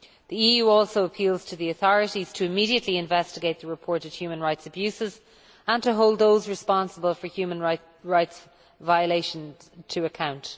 The EU also appeals to the authorities to immediately investigate the reported human rights abuses and to hold those responsible for human rights violations to account.